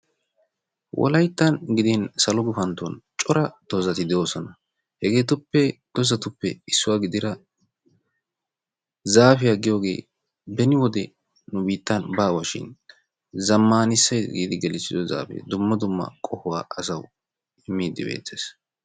Wolayttan gidin salo guffantton cora dozatti de'oosona. Hegeetuppe dozzatuppe issuwa gidira zaafiya giyoogee beni wode nu biittan baawa shin zamaanisaysi giidi gelissido zaafee dumma dumma qohuwaa asawu immidi beettees.